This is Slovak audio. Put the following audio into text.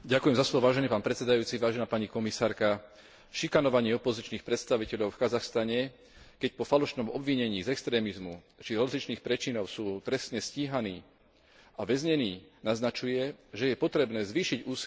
Šikanovanie opozičných predstaviteľov v Kazachstane, keď po falošnom obvinení z extrémizmu či rozličných prečinov sú trestne stíhaní a väznení, naznačuje, že je potrebné zvýšiť úsilie o dosiahnutie reformy trestného práva v tejto krajine.